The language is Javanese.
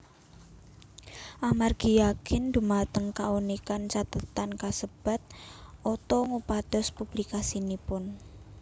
Amargi yakin dhumateng kaunikan cathetan kasebat Otto ngupados publikasinipun